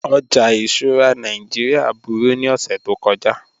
Ọjà ìṣura Nàìjíríà búru ni ọṣẹ̀ tó kọja